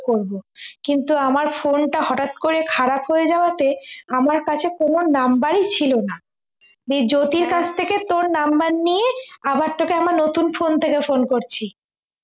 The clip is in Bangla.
করবো কিন্তু আমার phone টা হঠাৎ করে খারাপ হয়ে যাওয়াতে আমার কাছে কোন number ই ছিল না তো জ্যোতির কাছ থেকে তোর number নিয়ে আবার তোকে আমার নতুন phone থেকে phone করছি